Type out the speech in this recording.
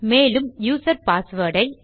மேலும் user password ஐ